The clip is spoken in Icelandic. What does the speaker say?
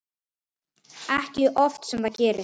Ekki oft sem það gerist.